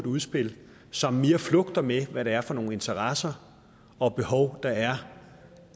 udspil som mere flugtede med hvad det er for nogle interesser og behov der er